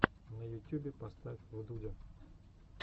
на ютюбе поставь вдудя